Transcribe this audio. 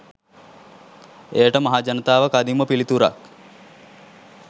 එයට මහජනතාව කදිම පිළිතුරක්